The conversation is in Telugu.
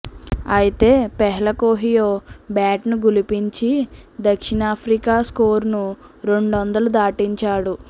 అయితే ఫెహ్లకోహియో బ్యాట్ను ఝుళిపించి దక్షిణాఫ్రికా స్కోరును రెండొం దలు దాటించాడు